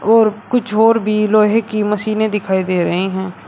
और कुछ और भी लोहे की मशीनें दिखाई दे रहे हैं।